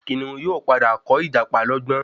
Kìnìún yóò pàdà kọ ìjàpá lógbón